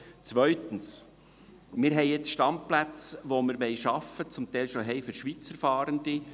Zweitens: Wir haben nun für Schweizer Fahrende Standplätze, die wir schaffen wollen oder zum Teil schon haben.